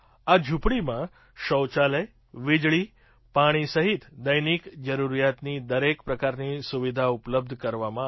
આ ઝૂંપડીમાં શૌચાલય વીજળીપાણી સહિત દૈનિક જરૂરિયાતની દરેક પ્રકારની સુવિધા ઉપલબ્ધ કરાવવામાં આવી